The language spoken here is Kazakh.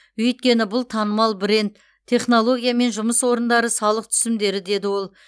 өйткені бұл танымал бренд технология мен жұмыс орындары салық түсімдері деді ол